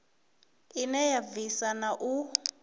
ine ya bvisa na u